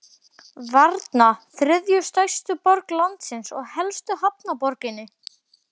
Varna, þriðju stærstu borg landsins og helstu hafnarborginni.